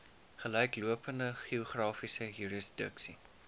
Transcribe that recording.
gelyklopende geografiese jurisdiksie